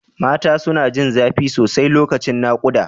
Mata suna jin zafi sosai lokacin nakuda.